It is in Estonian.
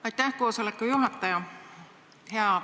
Aitäh, koosoleku juhataja!